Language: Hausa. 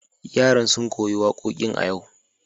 Yaran sun koyi wakokin a yau.